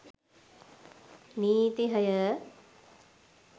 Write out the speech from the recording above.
නීති හය